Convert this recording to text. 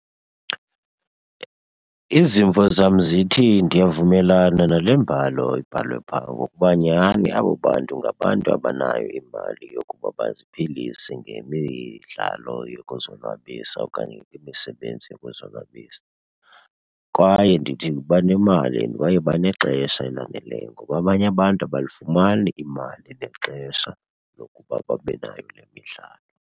Izimvo zam zithi ndiyavumelana nale mbalo ibhalwe phaa ngokuba nyhani abo bantu ngabantu abanayo imali yokuba baziphilise ngemidlalo yokuzonwabisa okanye ngemisebenzi yokuzonwabisa. Kwaye ndithi banemali and kwaye banexesha elaneleyo ngoba abanye abantu abalifumani imali nexesha lokuba babe nayo le midlalo.